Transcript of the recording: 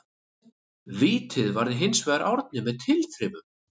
Vítið varði hinsvegar Árni með tilþrifum.